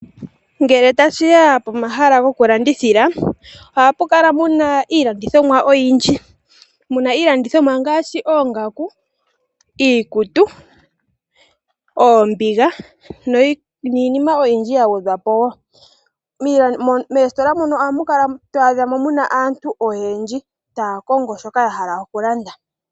Ngele tashiya pomahala gokulandithila ohapu kala puna iilandithomwa oyindji, muna iilandithomwa ngaashi oongaku, iikutu, oombiga niinima oyindji ya gwedhwapo woo. meesitola muno amukala twadhamo muna aantu oyendji taakongo shoka yahala okulanda.